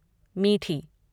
मीठी